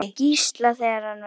Gísla, þegar hann var lítill.